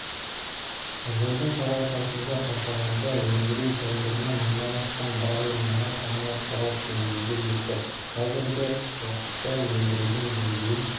жылдың қарашасында қашағанда өндіру тәулігіне мыңнан астам баррель мұнай коммерциялық деңгейге жетті қазіргі уақытта өндірудің деңгейін